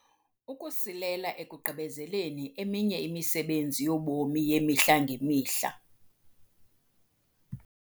Ukusilela ekugqibezeleni eminye imisebenzi yobomi yemihla ngemihla.